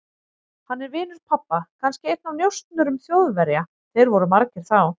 Hann er vinur pabba, kannski einn af njósnurum Þjóðverja, þeir voru margir þá.